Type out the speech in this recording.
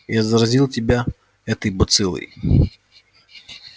я заразил тебя этой бациллой